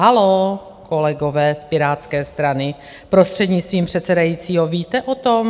Haló, kolegové z Pirátské strany, prostřednictvím předsedajícího, víte o tom?